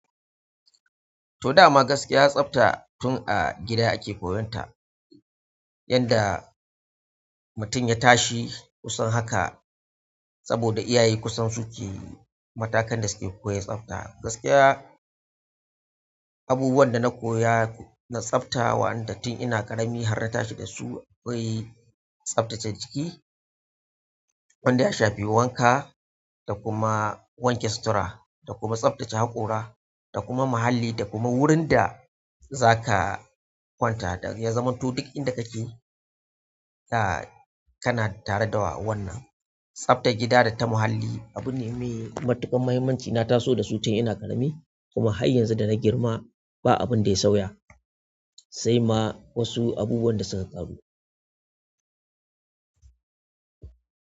To dama gaskiya, tsafta tun a gida ake koyonta. Yanda mutum ya tashi kusan haka saboda iyaye kusan su ke matakan da suke koyar da tsafta. Gaskiya, abubuwan da na koya na tsafta wa'anda tun ina ƙarami har na tashi da su, akwai tsaftace jiki, wanda ya shafi wanka da kuma wanke sutura da kuma tsaftace haƙora da kuma muhalli da kuma wurin da za ka kwanta. Ya zamanto duk inda kake ka, kana tare da wannan. Tsaftar gida da ta muhalli abu ne mai matuƙar muhimmanci. Na taso dasu tun ina ƙarami, kuma har yanzu dana girma ba abun da ya sauya sai ma wasu abubuwan da suka ƙaru.